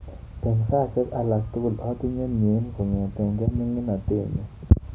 Eng saishek alak tugul atinye mnyeni kongetkei miningatet nyu.